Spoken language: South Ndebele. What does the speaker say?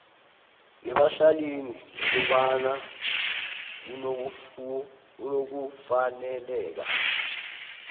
nebahlalini nokobana unokufaneleka